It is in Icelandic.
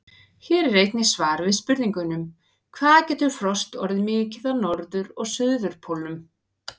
Hér er einnig svar við spurningunum: Hvað getur frost orðið mikið á norður- og suðurpólnum?